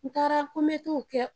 N taara ko n be t'o kɛ.